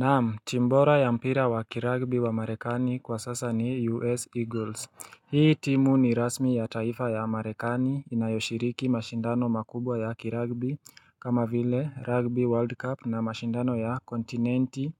Naam, team bora ya mpira wa kiragbi wa marekani kwa sasa ni U.S. Eagles. Hii timu ni rasmi ya taifa ya marekani inayoshiriki mashindano makubwa ya kiragbi kama vile rugby world cup na mashindano ya kontinenti